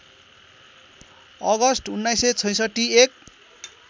August १९६६ एक